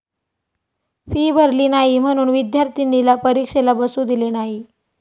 fee भरली नाही म्हणून विद्यार्थिनीला परीक्षेला बसू दिले नाही